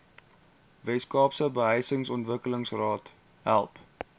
weskaapse behuisingsontwikkelingsraad help